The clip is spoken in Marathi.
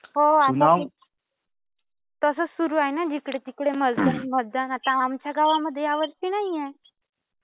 हो. आता. तसंच सुरू आहे ना जिकडे तिकडे मतदा मतदान. आता आमच्या गावामध्ये यावर्षी नाही आहे.